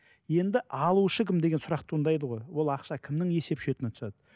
енді алушы кім деген сұрақ туындайды ғой ол ақша кімнің есеп шотына түседі